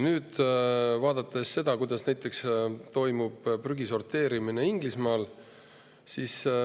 Nüüd vaatame seda, kuidas toimub prügi sorteerimine näiteks Inglismaal.